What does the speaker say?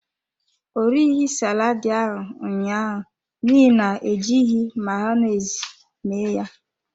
Ọ erighi saladi ahụ ụnyaahụ n’ihi na ejighị Mayonezi me ya.